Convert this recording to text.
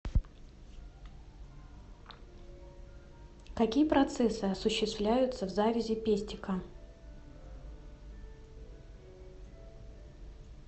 какие процессы осуществляются в завязи пестика